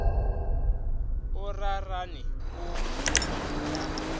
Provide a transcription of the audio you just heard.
o rarane o bopilwe ka